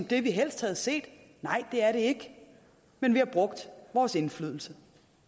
det vi helst havde set nej det er det ikke men vi har brugt vores indflydelse